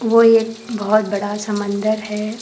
वो एक बहुत बड़ा समंदर है।